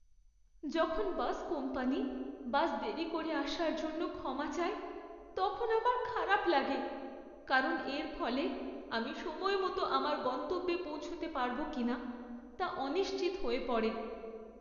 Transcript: যখন bus company bus দেরি করে আসার জন্য ক্ষমা চায় তখন আমার খারাপ লাগে, কারণ এর ফলে আমি সময় মতো আমার গন্তব্যে পৌঁছতে পারব কিনা তা অনিশ্চিত হয়ে পড়ে।